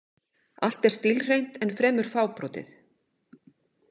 Allt er stílhreint en fremur fábrotið.